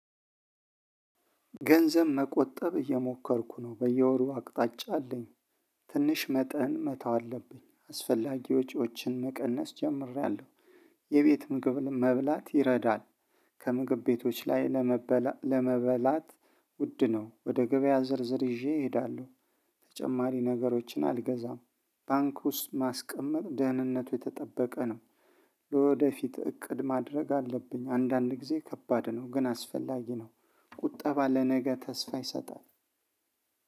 ገንዘብ መቆጠብ እየሞከርኩ ነው በየወሩ አቅጣጫ አለኝ ትንሽ መጠን መተው አለብኝ አስፈላጊ ወጪዎችን መቀነስ ጀምሬያለሁ የቤት ምግብ መብላት ይረዳል። ከምግብ ቤቶች ላይ ለመበላት ውድ ነው ወደ ገበያ ዝርዝር ይዤ እሄዳለሁ። ተጨማሪ ነገሮችን አልገዛም። ባንክ ውስጥ ማስቀመጥ ደህንነቱ የተጠበቀ ነው። ወደፊት እቅድ ማድረግ አለብኝ አንዳንድ ጊዜ ከባድ ነው ግን አስፈላጊ ነው። ቁጠባ ለነገ ተስፋ ይሰጣል።